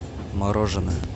мороженое